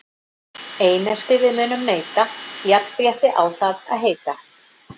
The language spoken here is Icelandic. Einelti við munum neita, jafnrétti á það að heita.